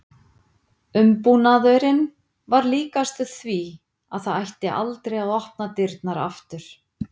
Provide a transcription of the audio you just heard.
Umbúnaðurinn var líkastur því að það ætti aldrei að opna dyrnar aftur.